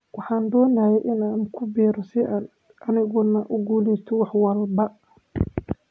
"Waxaan doonayay inaan ku biiro si aan aniguna u guuleysto wax walba."